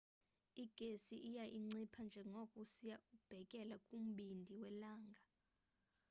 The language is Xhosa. igesi iya incipha njengoko usiya ubhekela kumbindi welanga